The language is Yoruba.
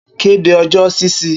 Kede ọjọ ṣiṣi